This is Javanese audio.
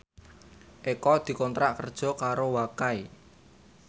Eko dikontrak kerja karo Wakai